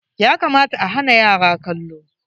Ya kamata a hana yara kallo.